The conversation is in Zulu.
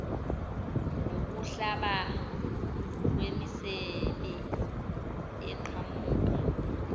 nokuhlaba kwemisebe eqhamuka